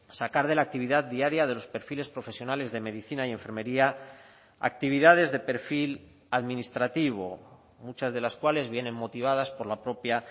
sacar de la actividad diaria de los perfiles profesionales de medicina y enfermería actividades de perfil administrativo muchas de las cuales vienen motivadas por la propia